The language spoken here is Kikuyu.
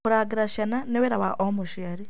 Gũcirangĩra ciana nĩ wĩra wa o mũciari.